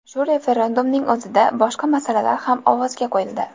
Shu referendumning o‘zida boshqa masalalar ham ovozga qo‘yildi.